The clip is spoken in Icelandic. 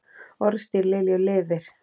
Orðstír Lilju lifir.